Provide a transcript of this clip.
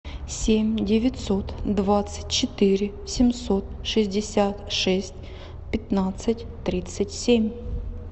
семь девятьсот двадцать четыре семьсот шестьдесят шесть пятнадцать тридцать семь